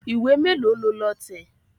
Ìwé mélòó lo lọ tẹ̀?